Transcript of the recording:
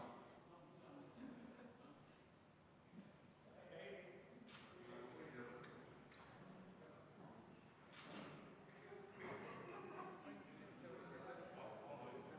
Me ei kuule, Hanno.